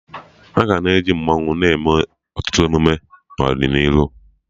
Aga na-eji mmanwụ na ọtụtụ emume n'ọdịnihu